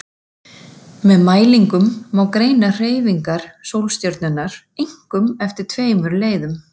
Með mælingum má greina hreyfingar sólstjörnunnar, einkum eftir tveimur leiðum.